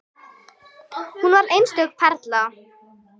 Hún var einstök perla.